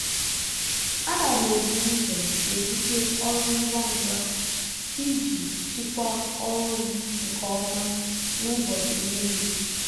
ana m ebu ụzọ ebute ọrụ ngwa ngwa iji jikwaa ọrụ m nke ọma n'ụbọchị niile.